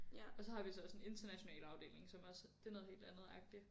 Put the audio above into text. Og så har vi så også en international afdeling som også det er noget helt andet agtig